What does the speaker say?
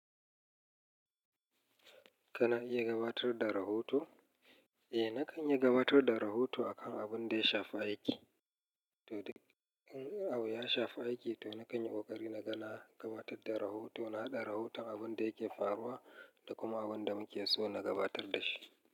Kana iya gabatar da rahoto? Eh nakan iya gabatar da rahoto akan abun da ya shafi aiki. Toduk in abu ya shafi aiki to nakan yi ƙoƙari na ga na gabatar da rahoto na haɗa rahoton abun da yake faruwa da kuma abun da muke so na gabatar da shi.